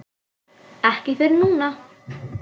Ekki fyrr en núna.